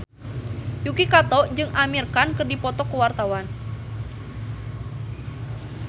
Yuki Kato jeung Amir Khan keur dipoto ku wartawan